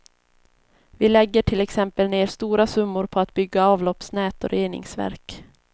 Vi lägger till exempel ner stora summor på att bygga avloppsnät och reningsverk.